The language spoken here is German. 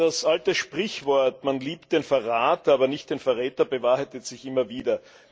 Das alte Sprichwort Man liebt den Verrat, aber nicht den Verräter bewahrheitet sich immer wieder.